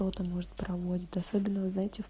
кто то может провозит особенно вы знаете в